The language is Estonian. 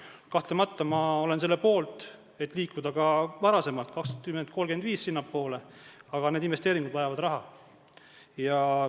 Kahtlemata olen ma selle poolt, et liikuda sinnapoole ka varem kui 2035, aga need investeeringud vajavad raha.